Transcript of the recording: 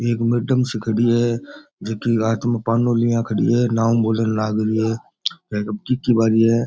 एक मेडम सी खड़ी है जकी के हाथ में पानो लिया खड़ी है नाम बोलन लागरी है के अब की की बारी है।